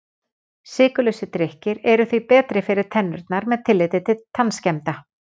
Sykurlausir drykkir eru því betri fyrir tennurnar með tilliti til tannskemmda.